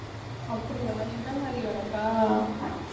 அப்படியா எந்த மாதிரி வேலைக்கா?